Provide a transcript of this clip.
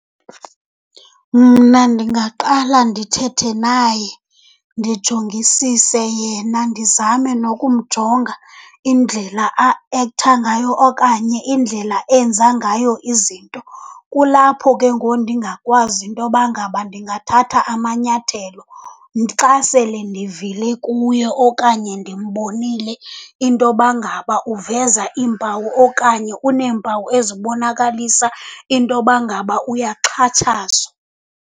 Mna ndingaqala ndithethe naye, ndijongisise yena, ndizame nokumjonga indlela aektha ngayo okanye indlela enza ngayo izinto. Kulapho ke ngoku ndingakwazi intoba ngaba ndingathatha amanyathelo, xa sele ndivile kuye okanye ndimbonile intoba ngaba uveza iimpawu okanye uneempawu ezibonakalisa intoba ngaba uyaxhatshazwa.